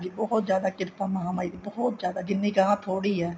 ਬਹੁਤ ਜਿਆਦਾ ਕਿਰਪਾ ਮਹਾ ਮਾਈ ਦੀ ਬਹੁਤ ਜਿਆਦਾ ਜਿੰਨੀ ਚਾਵਾਂ ਥੋੜੀ ਏ